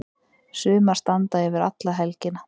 Sumar standa yfir alla helgina.